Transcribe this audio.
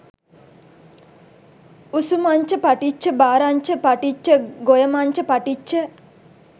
උසුමංච පටිච්ච ඛාරංච පටිච්ච ගොයමංච පටිච්ච